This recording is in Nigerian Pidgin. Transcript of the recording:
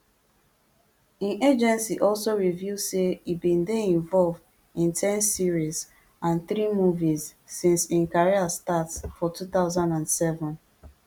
im agency also reveal say e bin dey involved in ten series and three movies since im career start for two thousand and seven